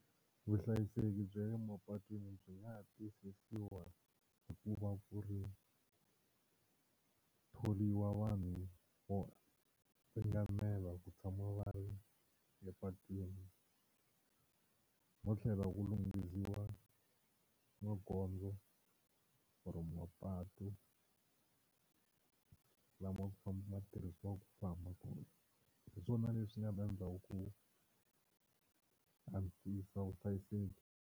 Vuhlayiseki bya le mapatwini byi nga tiyisisiwa hi ku va ku ri thoriwa vanhu vo ringanela ku tshama va ri le patwini no tlhela ku lunghisiwa magondzo or mapatu lama tirhisiwaka ku famba kona, hi swona leswi nga ta endla ku antswisa vuhlayiseki.